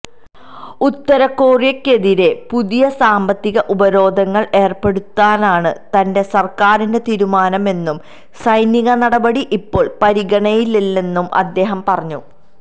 ഉത്തരകൊറിയയ്ക്കെതിരെ പുതിയ സാമ്പത്തിക ഉപരോധങ്ങള് ഏര്പ്പെടുത്താനാണ് തന്റെ സര്ക്കാരിന്റെ തീരുമാനമെന്നും സൈനിക നടപടി ഇപ്പോള് പരിഗണനയിലില്ലെന്നും അദ്ദേഹം പറഞ്ഞു